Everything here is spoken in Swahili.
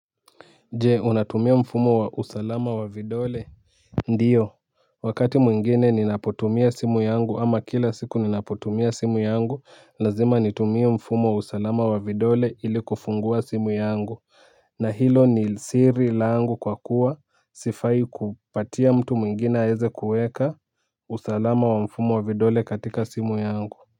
Jee unatumia mfumo wa usalama wa vidole ndiyo wakati mwingine ninapotumia simu yangu ama kila siku ninapotumia simu yangu lazima nitumie mfumo wa usalama wa vidole ili kufungua simu yangu na hilo ni siri langu kwa kuwa sifai kupatia mtu mwingine aeze kuweka usalama wa mfumo wa vidole katika simu yangu.